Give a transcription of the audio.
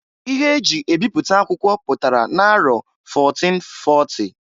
Ihe eji ebiputa akwụkwọ pụtara na-arọ 1440.